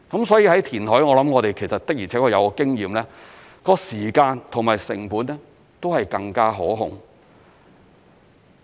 所以填海我們的而且確有經驗，在時間或成本上是更加可控的。